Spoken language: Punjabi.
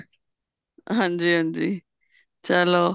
ਹਾਂਜੀ ਹਾਂਜੀ ਚਲੋ